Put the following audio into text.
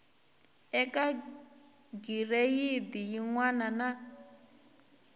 eka gireyidi yin wana na